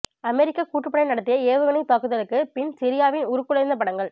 அமெரிக்க கூட்டுப்படை நடத்திய ஏவுகணைத் தாக்குதலுக்கு பின் சிரியாவின் உருக்குலைந்த படங்கள்